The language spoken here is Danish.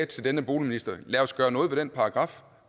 til denne boligminister lad os gøre noget ved den paragraf